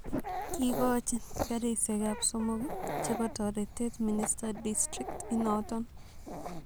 Kiigochi karisyekap somok chepo toreteet minister district inoton